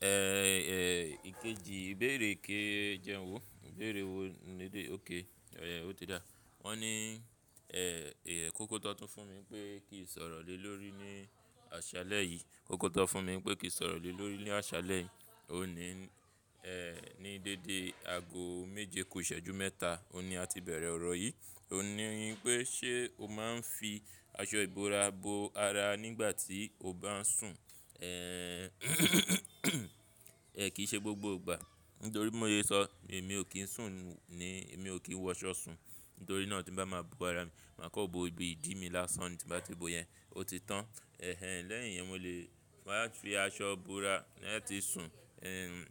Eh, eh, ìkejì, ìbéèrè ke jẹun wò, ìbéèrè wo nílé óké, ọ̀yà o ti dá. Wọ́n ní, eh, eh, kóko tọ́ tún fún mi pé kì í sọ̀rọ̀ lè lórí ní àṣálẹ́ yìí. Kóko tọ́ fún mi pé kì í sọ̀rọ̀ lè lórí ní àṣálẹ́ yìí. O ní, eh, ní dédé ago méje kò ṣẹ́jú mẹ́ta, o ní a ti bẹ̀rẹ̀ ọ̀rọ̀ yìí. Ní, pé ṣe o máa ń fi aṣọ ìbora bo ara nígbà tí o bá ń sùn? Eh, è kí í ṣe gbogbo ìgbà. Nítorí bi mó se sọ, èmi ò kí ń sùn ní, èmi ò kí ń wọ ṣọ sùn. Nítorí náà tí bá máa bo ara mi, màá kọ́bo ibi ìdí mi lásán tí bá ti bo yẹn, ó ti tán. Eh, lẹ́yìn yẹn mo lè, màá fi aṣọ bora lẹ́ti sùn. Eh,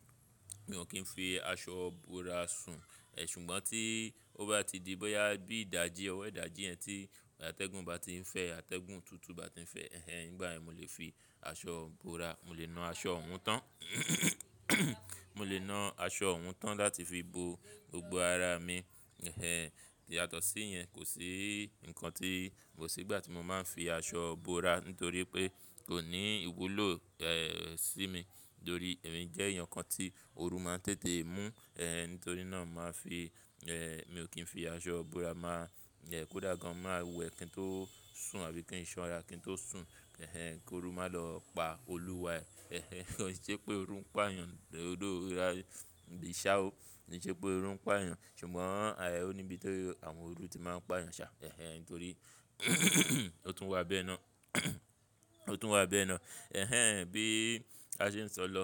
mi ò kí ń fi aṣọ bora sùn. Ṣùgbọ́n tí ó bá ti di bóyá bí ìdajì, ọwọ́ ìdajì yẹn tí atẹ́gùn bá ti ń fẹ́, atẹ́gùn tutu bá ti ń fẹ́, eh, nígbà yẹn mo lè fi aṣọ bora, mo lè na aṣọ hun tán. Mo lè na aṣọ un tán láti fi bo gbogbo ara mi, eh, yàtọ̀ sí yẹn, kò sí ǹkan tí, kò sí ìgbà tí mo máa ń fi aṣọ bora nítorí pé kò ní ìwúlò, eh, sí mi. Nítorí èmi jẹ́ èèyàn kan tí ooru máa ń tètè mú, eh, nítorí náà màá fi, eh, mi ò kí ń fi aṣọ bora máa, eh, kó dà gan, máa wẹ̀ kí ń tó sùn àbí kí ń ṣọ́nra kí ń tó sùn, eh, kí ooru má lọ pa olúwa ẹ. Eh, kò ṣe pé ooru ń pà yàn, odó ìrà ìṣá o. Kò ṣe pé ooru ń pà yàn ṣùgbọ́n ààyè ò níbi tó àwọn ooru ti máa ń pà yàn ṣá, eh, nítorí ó tún wà bẹ́ẹ̀ náà. Ó tún wà bẹ́ẹ̀ náà. Eh, bí a ṣe ń sọ lọ,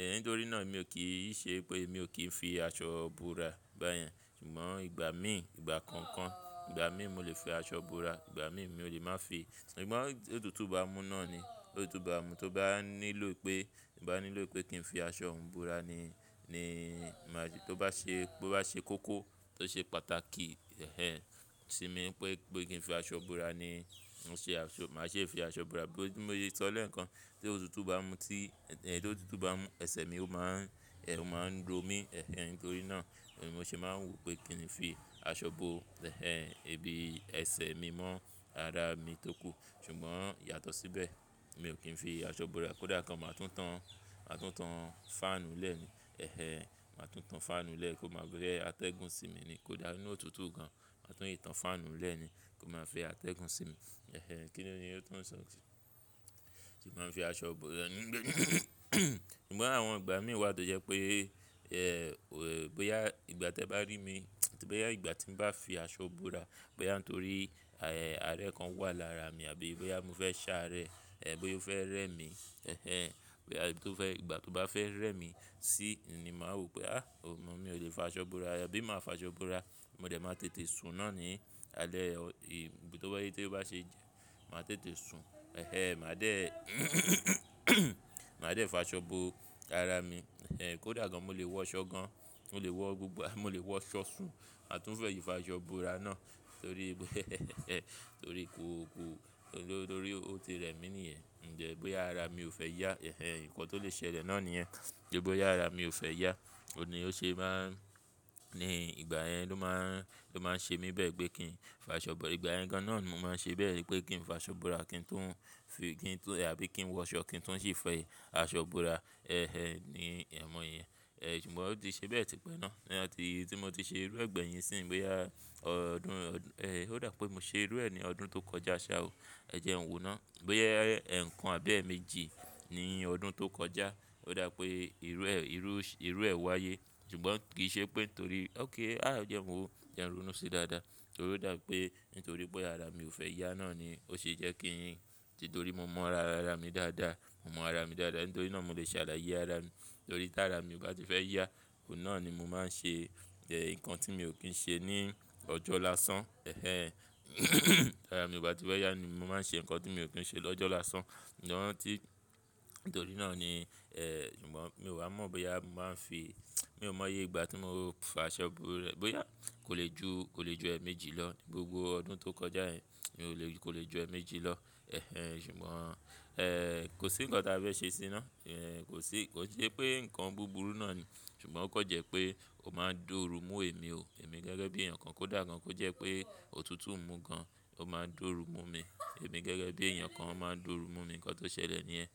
eh, nítorí náà mi ò kí ṣe pé mi ò kí ń fi aṣọ bora báyẹn. Ṣùgbọ́n ìgbà mí, ìgbà konkan, ìgbà mí mo lè fi aṣọ bora, ìgbà mí mi ò lè má fi. Ṣùgbọ́n ti òtútù bá mú náà ni, òtútù bá mú, tó bá nílò pé, ì bá nílò pé kí n fi aṣọ hún bora ni, ni máa ṣe, tó bá ṣe, bó bá ṣe koko tó ṣe pàtàkì, eh, sí mi pé, pé kí n fi aṣọ bora ni, mo ṣe aṣọ, màá ṣe fi aṣọ bora. Bí mo ṣe sọlẹ̀ ǹkan, tí òtútù bá mú tí, eh, tí òtútù bá mú, ẹsẹ̀ mi ó máa ń, eh, ó máa ń ro mí, eh, nítorí náà mo ṣe máa ń wò pé kíni fi aṣọ bo, eh, ibi ẹsẹ̀ mi mọ́ ara mi tó kù. Ṣùgbọ́n yàtọ̀ síbẹ̀, mi ò kí ń fi aṣọ bora. Kódà kan màá tún tan, màá tún tan fáànù lẹ́ mi, eh eh, màá tún tan fáànù lẹ́ kó máa gbé atẹ́gùn sí mi ni. Kódà ní òtútù gan, màá tún ìtàn fáànù lẹ́ ni kó máa fi atẹ́gùn sí mi. Eh eh, kí ni ó ni ó tún ń sọ. Màá fi aṣọ ìbora. Ṣùgbọ́n àwọn ìgbà mí wà tó jẹ́ pé, eh, bóyá ìgbà tí ẹ bá rí mi, tì bóyá ìgbà tí n bá fi aṣọ bora, bóyá nítorí, eh, àárẹ̀ kan wà lára mi àbí bóyá mo fẹ́ ṣàárẹ̀, eh, bóyá ó fẹ́ rẹ́ mi, eh eh, bóyá tó fẹ́, ìgbà tó bá fẹ́ rẹ́ mi sí ni màá wò pé, á, ọmọ mi olè fa aṣọ bora. Bí máa fi aṣọ bora, mo dẹ̀ máa tètè sùn náà ni. Alẹ́, èyí ibi tó bá ṣe, màá tètè sùn. Eh eh, màá dẹ̀, màá dẹ̀ fa aṣọ bo ara mi. Eh, kó dà gan mo lè wọ ṣọ gan, mo lè wọ gbogbo, mo lè wọ ṣọ sùn àtún fẹ́ fi aṣọ bora náà torí pé torí ko ko, nítorí ó ti rẹ́ mi ní yẹn. Ǹjẹ́ bóyá ara mi ò fẹ́ yá, eh eh, ǹkan tó lè ṣẹlẹ̀ náà ni yẹn. Ǹjẹ́ bóyá ara mi ò fẹ́ yá, òní ó ṣe máa ń, ní ìgbà yẹn ló máa ń, ló máa ń ṣe mí bẹ́ẹ̀ pé kí n fi aṣọ bora. Ìgbà yẹn gan náà ni mo máa ń ṣe bẹ́ẹ̀ pé kí n fi aṣọ bora kí ń tún fi, kí ń tún àbí kí ń wọ aṣọ kí ń tún sì fi aṣọ bora, eh eh, ni ẹ̀ ọmọ yẹn. Eh, ṣùgbọ́n ó ti ṣe bẹ́ẹ̀ típẹ́ náà. Ǹjá tí, tí mo ti ṣe irú ẹ̀gbẹ́ yẹn sí i bóyá ọdún, eh, ó dà pé mo ṣe irú ẹ ní ọdún tó kọjá sá o. Ẹ jẹ n wò náà. Bóyá ẹ̀kan àbí ẹ́ẹ̀mejì ní ọdún tó kọjá ó dà pé irú ẹ, irú, irú ẹ wáyé. Ṣùgbọ́n kì í ṣe pé nítorí, óké, àá jẹ n wò, jẹ n ronu si dáadáa. Nítorí ó dà pé, nítorí bóyá ara mi ò fẹ́ yá náà ni ó ṣe jẹ́ kí n, titorí mo mọ ara, ara mi dáadáa. Mo mọ ara mi dáadáa. Nítorí náà mo lè ṣàlàyé ara mi. Nítorí tí ara mi ò bá ti fẹ́ yá, òun náà ni mo máa ń ṣe, eh, ǹkan tí mi ò kí ń ṣe ní ọjọ́ lásán. Eh, tí ara mi ò bá ti fẹ́ yá ni mo máa ń ṣe ǹkan tí mi ò kí ń ṣe lọ́jọ́ lásán. Ǹjẹ́ wọ́n ti, nítorí náà ni, ẹh, ṣùgbọ́n mi ò wá mọ̀ bóyá màá n fi, mi ò mọ̀ ye ìgbà tí mo fa aṣọ bora. Bóyá kò lè ju, kò lè ju ẹ́ẹ̀méjì lọ ní gbogbo ọdún tó kọjá yẹn. Mi ò lè, kò lè ju ẹ́ẹ̀méjì lọ. Ẹh ẹh, ṣùgbọ́n, eh, kò sí ǹkan tí a fẹ́ ṣe sí i náà. Ẹh, kò sí, kò í ṣe pé ǹkan búburú náà ni, ṣùgbọ́n ó kọ́ jẹ́ pé ó máa ń doru mú èmi o. Èmi gẹ́gẹ́ bí èèyàn kan kó dà gan kó jẹ́ pé òtútù ń mú gan, ó máa ń doru mú mi. Èmi gẹ́gẹ́ bí èèyàn kan ọ máa ń doru mú mi. Ǹkan tó ṣẹlẹ̀ níyẹn.